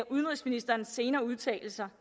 udenrigsministerens senere udtalelser